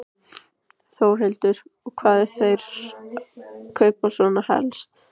Þórhildur: Og hvað eru þeir að kaupa svona helst?